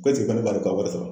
ne b'ale ka wari sara.